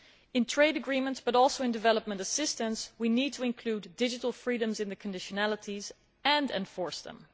In trade agreements, but also in development assistance, we need to include digital freedoms in conditionalities and to enforce them.